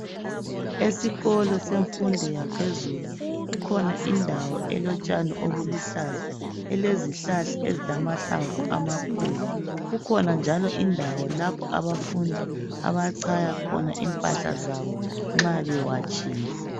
Esikolo semfundo yaphezulu kukhona indawo elotshani obuluhlaza elezihlahla ezilamahlamvu amakhulu. Kukhona njalo indawo lapho abafundi abachaya khona impahla zabo nxa bewatshile.